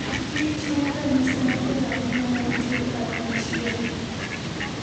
Kich en ranyisi maber ahinya mar tiyo kanyachiel.